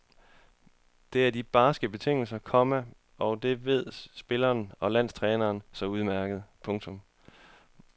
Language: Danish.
Det er de barske betingelser, komma og det ved spillere og landstræneren så udmærket. punktum